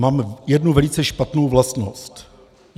Mám jednu velice špatnou vlastnost.